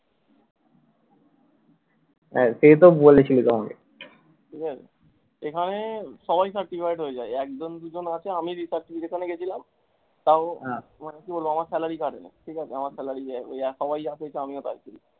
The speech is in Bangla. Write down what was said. হ্যাঁ, সেতো বলেছিলিস আমাকে এখানে সবাই certified হয়ে যায় একজন, দুজন আছে আমি certification এ গেছিলাম তাও কি বলবো আমার salary কাটেনি ঠিকাছে আমার salary জা ঐ সবাই জা পেয়েছে আমিও তাই পেয়েছি।